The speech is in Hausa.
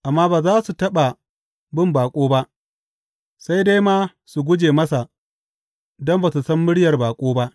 Amma ba za su taɓa bin baƙo ba; sai dai ma su guje masa don ba su san muryar baƙo ba.